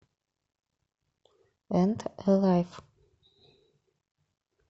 энд э лайф